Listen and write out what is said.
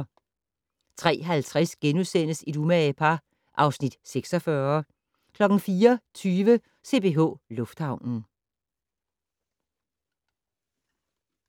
03:50: Et umage par (Afs. 46)* 04:20: CPH Lufthavnen